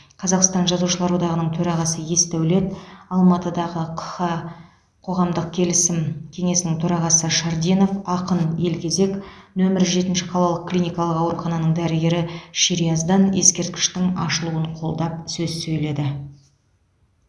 қазақстан жазушылар одағының төрағасы есдәулет алматыдағы қха қоғамдық келісім кеңесінің төрағасы шардинов ақын елгезек нөмер жетінші қалалық клиникалық аурухананың дәрігері шерияздан ескерткіштің ашылуын қолдап сөз сөйледі